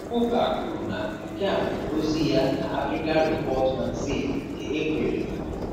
Kụkah kwuru na nke a bụ ozi ya na Africa Report Magazine nke April Igbo.